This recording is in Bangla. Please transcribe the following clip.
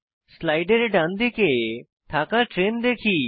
স্লাইডের ডানদিকে থাকা ট্রেন দেখি